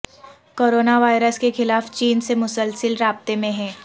corona virus کے خلاف چین سے مسلسل رابطے میں ہیں